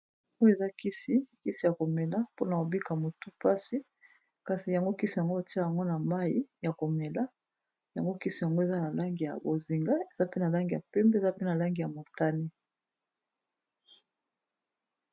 Oyo, eza kisi ya komela mpona ko bika motu mpasi. Kasi yango kisi yango, otia yango na mai ya komela. Yango kisi yango, eza na langi ya bozinga, eza pe na langi ya pembe, eza pe na langi ya motani.